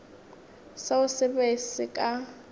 seo se be se ka